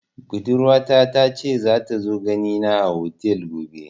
Budurwa ta ta ce za ta zo gani na a otel gobe